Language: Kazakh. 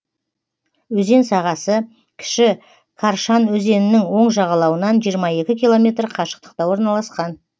өзен сағасы кіші каршан өзенінің оң жағалауынан жиырма екі километр қашықтықта орналасқан